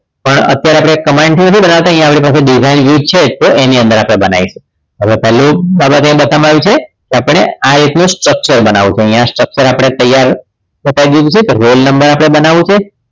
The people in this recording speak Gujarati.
પણ અત્યારે આપણે command થી નથી બનાવતા અહીંયા આપણી પાસે design view છે તો આપણે એની અંદર બનાવીશું હવે પહેલી બાબત એ બતાવી છે કે આપણને આ એકલું structure બનાવવું તો અહીંયા આપણને structure તૈયાર બતાવી દીધું છે તો roll number આપણને બનાવો છે